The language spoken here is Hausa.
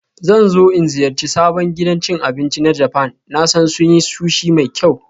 Zan so in ziyarci sabon gidan cin abinci na Japan, na sa sun yi Sushi mai kyau